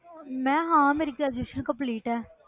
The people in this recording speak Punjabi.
ਮੈਂ ਹਾਂ ਮੇਰੀ graduation complete ਹੈ।